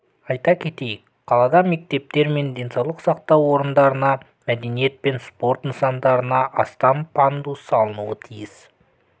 айта кетейік қалада мектептер мен денсаулық сақтау орындарына мәдениет пен спорт нысандарына астам пандус салынуы тиіс